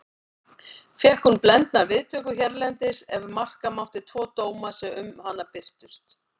Fékk hún blendnar viðtökur hérlendis ef marka mátti tvo dóma sem um hana birtust.